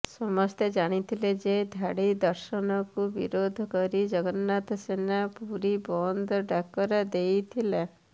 ସମସ୍ତେ ଜାଣିଥିଲେ ଯେ ଧାଡ଼ି ଦର୍ଶନକୁ ବିରୋଧ କରି ଜଗନ୍ନାଥ ସେନା ପୁରୀ ବନ୍ଦ ଡାକରା ଦେଇଥିଲା